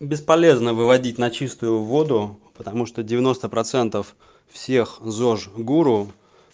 бесполезно выводить на чистую воду потому что девяносто процентов всех зож гуру